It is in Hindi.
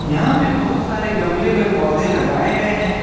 यहां पे बहुत सारे गमले में पौधे लगायें गये है।